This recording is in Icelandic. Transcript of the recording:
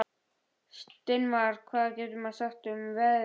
Steinmar, hvað geturðu sagt mér um veðrið?